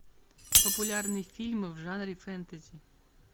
популярные фильмы в жанре фэнтези